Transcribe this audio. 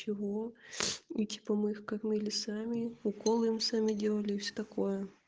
чего эти помывка мыли сами уколы им сами делали и всё такое